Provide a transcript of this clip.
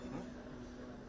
Hıhı.